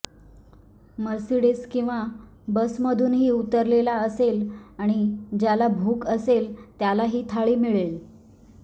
Mercedes किंवा बसमधूनही उतरलेला असेल आणि ज्याला भूक असेल त्याला ही थाळी मिळेल